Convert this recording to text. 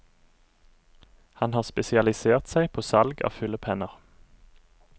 Han har spesialisert seg på salg av fyllepenner.